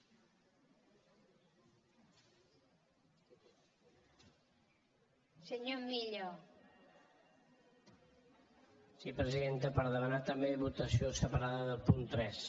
sí presidenta per demanar també votació separada del punt tres